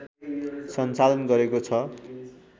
सञ्चालन गरेको छ